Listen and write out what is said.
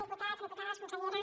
diputats i diputades consellera